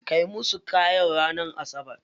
Kai musu kayan ranar asabar.